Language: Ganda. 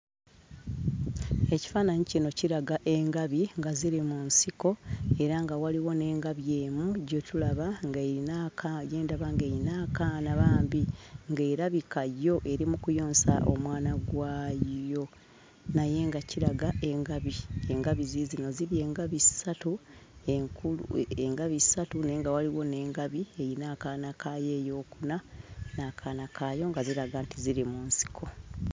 Ekifaananyi kino kiraga engabi nga ziri mu nsiko, era nga waliwo n'engabi emu gye tulaba ng'eyina aka gye ndaba ng'erina akaana bambi ng'erabika yo eri mu kuyonsa omwana gwayo. Naye nga kiraga engabi. Engabi ziizino ziri engabi ssatu enkulu, engabi ssatu naye nga waliwo n'engabi eyina akaana kaayo eyookuna n'akaana kaayo nga ziraga nti ziri mu nsiko.